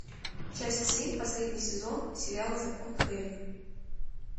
часть семь последний сезон сериал закон хэрри